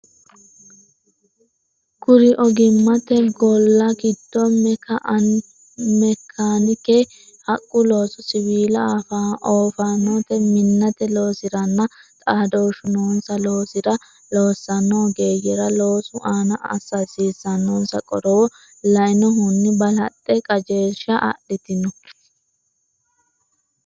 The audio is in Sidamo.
Kuri ogimmate golla giddo meka- anike, haqqu looso, siwiilla, oofaanote, minnate loosiranna xaadooshshu noonsa loosira loossanno ogeeyyera loosu aana assa hasiissannonsa qorowo lainohunni balaxxe qajeelsha adhitanno.